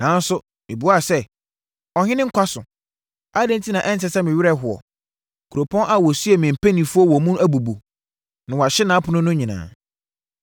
nanso, mebuaa sɛ, “Ɔhene nkwa so! Adɛn enti na ɛnsɛ sɛ me werɛ hoɔ? Kuropɔn a wɔsiee me mpanimfoɔ wɔ mu no abubu, na wɔahye nʼapono no nyinaa.”